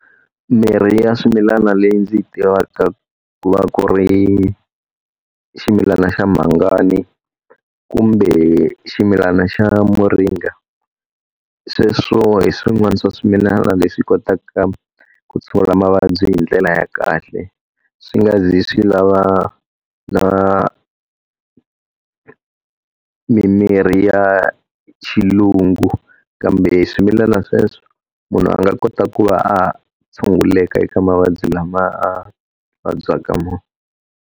Mirhi ya swimilana leyi ndzi yi tivaka ku va ku ri ximilana xa mhangani kumbe ximilana xa moringa. Sweswo hi swin'wana swa swimilana leswi kotaka ku tshungula mavabyi hi ndlela ya kahle, swi nga ze swi lava na mimirhi ya xilungu Kambe hi swimilana sweswo, munhu a nga kota ku va a tshunguleka eka mavabyi lama a vabyaka wona.